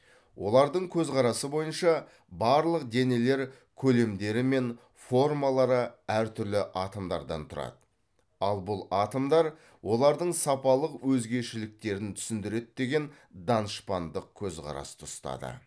олардың көзқарасы бойынша барлық денелер көлемдері мен формалары әр түрлі атомдардан тұрады ал бұл атомдар олардың сапалық өзгешеліктерін түсіндіреді деген данышпандық көзқарасты ұстады